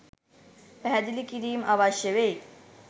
පැහැදිලි කිරීම් අවශ්‍ය වෙයි.